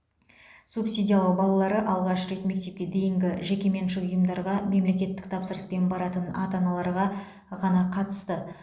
субсидиялау балалары алғаш рет мектепке дейінгі жекеменшік ұйымдарға мемлекеттік тапсырыспен баратын ата аналарға ғана қатысты